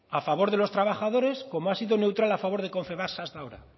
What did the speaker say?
a favor de los trabajadores como ha sido neutral a favor de confebask hasta ahora